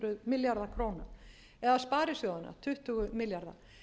milljarða króna eða sparisjóðanna tuttugu milljarða